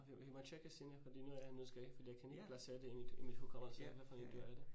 Vi vi må have tjekket senere fordi nu er jeg nu husker jeg ikke fordi jeg kan ikke placere det i mit i mit hukommelse hvad for et dyr er det